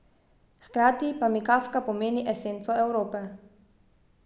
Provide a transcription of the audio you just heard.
Hkrati pa mi Kafka pomeni esenco Evrope.